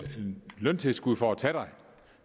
løntilskud for at tage dig